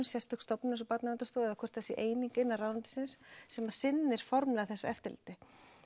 sérstök stofnun eins og Barnaverndarstofa eða hvort það sé eining innan ráðuneytisins sem sinnir formlega þessu eftirliti